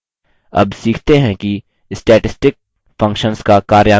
अब सीखते हैं कि statistic functions का कार्यान्वन कैसे करें